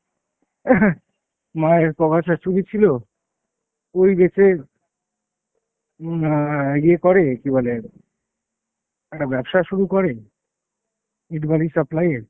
মায়ের ক গাছা চুড়ি ছিল, ওই রেখে উম অ্যাঁ ইয়ে করে কী বলে একটা ব্যবসা শুরু করে ইট বালি supply এর।